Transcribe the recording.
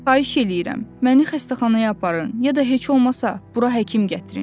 Xahiş eləyirəm, məni xəstəxanaya aparın, ya da heç olmasa bura həkim gətirin.